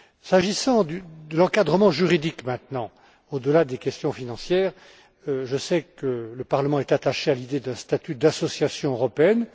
S'agissant de l'encadrement juridique, au delà des questions financières, je sais que le Parlement est attaché à l'idée d'un statut d'association européenne.